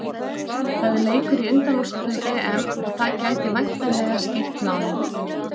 Það er leikur í undanúrslitum EM og það gæti væntanlega skýrt málin.